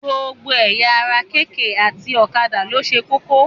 Gbogbo ẹ̀yà ara kk àti ọ̀kadà ló ṣe kókó.